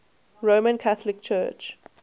roman catholic church